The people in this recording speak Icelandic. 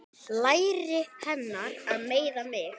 Læri hennar meiða mig.